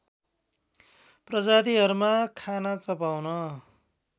प्रजातिहरूमा खाना चपाउन